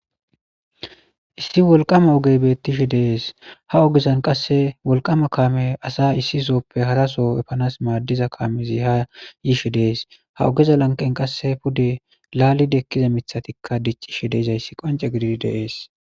Issi wolqqama oggeyi bettishe de'es ha oggezan qase wolqqama kammey asa issisoppe haraso eppanas madizza kammezi ha yishshe dees ha oggeza lanqqenka qas pudde lalidi ekkiza miththati diccishe dizayisi qocce kezidi bettes.